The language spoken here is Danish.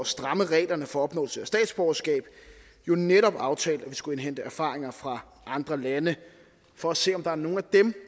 stramme reglerne for at opnå statsborgerskab jo netop aftalte at vi skulle indhente erfaringer fra andre lande for at se om der er nogle af dem